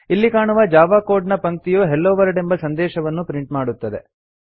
ಇಲ್ಲಿ ಕಾಣುವ Java code ನ ಪಂಕ್ತಿಯು ಹೆಲ್ಲೊ ವರ್ಲ್ಡ್ ಎಂಬ ಸಂದೆಶವನ್ನು ಪ್ರಿಂಟ್ ಮಾಡುತ್ತದೆ